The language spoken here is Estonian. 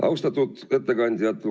Austatud ettekandjad!